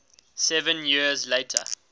seven years later